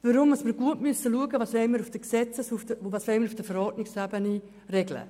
Wir müssen gut schauen, was wir auf der Gesetzes- und was auf der Verordnungsebene regeln.